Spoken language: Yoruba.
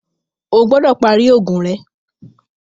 Ọ gbọdọ pari oogun rẹ!